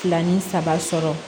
Fila ni saba sɔrɔ